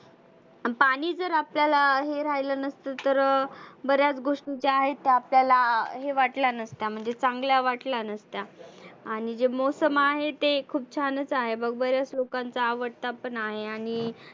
आन पाणि जर आपल्याला हे राहिलं नसतं तर बऱ्याच गोष्टी त्या आहेत त्या आपल्याला हे वाटल्या नसत्या म्हणजे चागल्या वाटल्या नसत्या. आणि जे मौसम आहे ते खुप छानच आहे. मग बऱ्याच लोकांचा आवडता पण आहे आणि